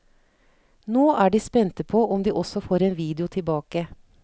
Nå er de spente på om de også får en video tilbake.